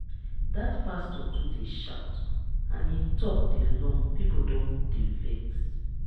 dat pastor too dey shout and him talk dey long people don dey vex